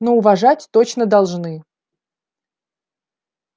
но уважать точно должны